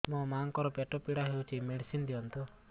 ମୋ ମାଆଙ୍କର ପେଟ ପୀଡା ହଉଛି ମେଡିସିନ ଦିଅନ୍ତୁ